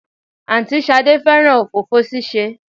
Àǹtí Ṣadé fẹ́ràn òfófó ṣíṣe